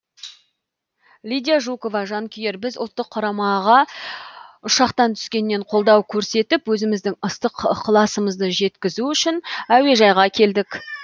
лидия жукова жанкүйер біз ұлттық құрамаға ұшақтан түскеннен қолдау көрсетіп өзіміздің ыстық ықыласымызды жеткізу үшін әуежайға келдік